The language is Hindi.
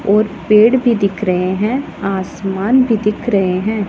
और पेड़ भी दिख रहे हैं आसमान भी दिख रहे हैं।